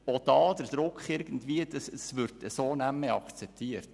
Auch hier gibt es Druck, es wird nicht mehr akzeptiert.